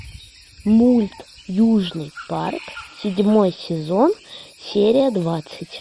мульт южный парк седьмой сезон серия двадцать